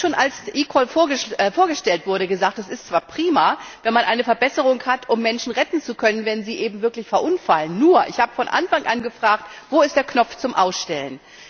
Ich habe, schon als eCall vorgestellt wurde, gesagt Das ist zwar prima, wenn man eine Verbesserung hat, um Menschen retten zu können, wenn sie eben wirklich verunfallen. Nur habe ich von Anfang an gefragt Wo ist der Knopf zum Ausstellen?